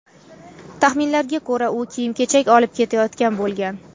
Taxminlarga ko‘ra, u kiyim-kechak olib ketayotgan bo‘lgan.